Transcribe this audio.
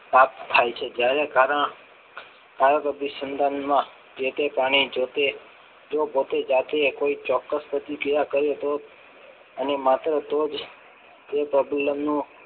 થાપ ખાય છે જ્યારે કારણ ભારત અભિસંધાન માં જે પોતે જાતે કોઈ ચોક્કસ પ્રતિક્રિયા કરે તો એની માત્ર તો જ એ પ્રબલન નો